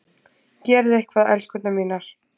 Gerið eitthvað, elskurnar mínar!